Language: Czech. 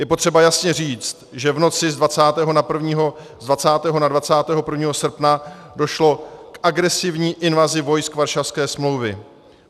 Je potřeba jasně říct, že v noci z 20. na 21. srpna došlo k agresivní invazi vojsk Varšavské smlouvy.